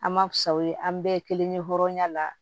An ma fisa o ye an bɛɛ ye kelen ye hɔrɔnya la